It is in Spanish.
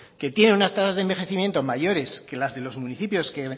que tienen unas tasas de envejecimiento mayores que las de los municipios que